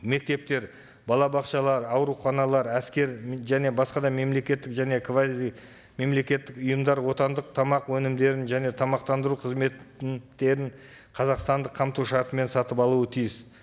мектептер балабақшалар ауруханалар әскер және басқа да мемлекеттік және квазимемлекеттік ұйымдар отандық тамақ өнімдерін және тамақтандыру қызмет қазақстандық қамту шартымен сатып алуы тиіс